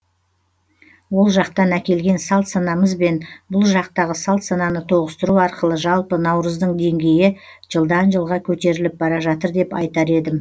ол жақтан әкелген салт санамыз бен бұл жақтағы салт сананы тоғыстыру арқылы жалпы наурыздың денгейі жылдан жылға көтеріліп бара жатыр деп айтар едім